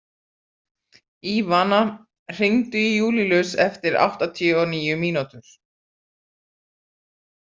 Ívana, hringdu í Júlílus eftir áttatíu og níu mínútur.